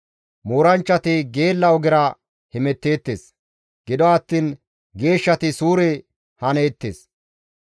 Mooranchchati geella ogera hemetteettes; gido attiin geeshshati suure haneettes.